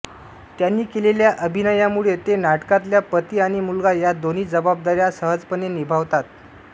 त्यांनी केलेल्या अभिनयामुळे ते नाटकातल्या पती आणि मुलगा या दोन्ही जबाबदाऱ्या सहजपणे निभावतात